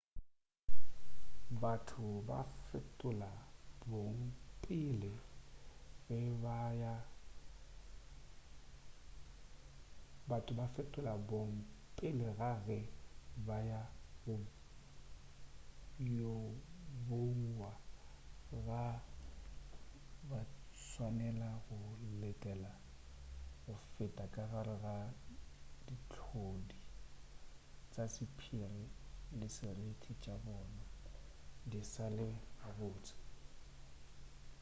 batho go fetola bong pele ga ge ba yo bouwa ga batswanela go letela go feta ka gare ga dihlodi ka sephiri le seriti tša bona di sa le ga botse